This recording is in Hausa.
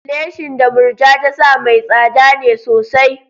Leshin da Murja ta sa mai tsada ne sosai.